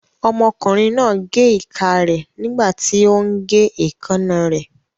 Ọmọkùnrin náà gé ìka rẹ̀ nígbàtí ó ún gé èékánná rẹ̀